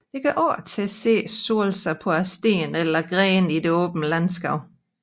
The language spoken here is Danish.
Det kan af og til ses sole sig på sten eller grene i det åbne landskab